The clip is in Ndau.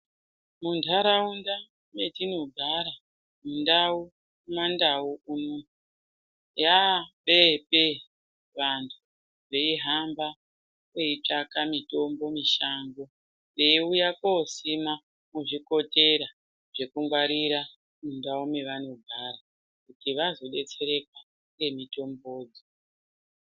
Muntaraunda metinogara , mundau kumandau yapee pee vantu veihamba veitsvaka mitombo mishango, veiuya kosime muzvikotera zvekungwarira muntaraunda mavanogara kuti vazodetsereka ngemitombo.